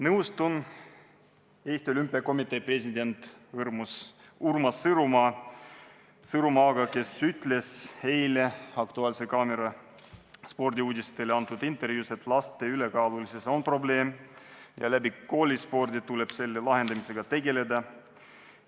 Nõustun Eesti Olümpiakomitee presidendi Urmas Sõõrumaaga, kes ütles eile "Aktuaalse kaamera" spordiuudistele antud intervjuus, et laste ülekaalulisus on probleem, mida tuleb püüda lahendada koolispordi abil.